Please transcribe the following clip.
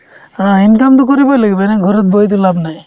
অ, income তো কৰিবই লাগিব এনে ঘৰত বহিতো লাভ নাই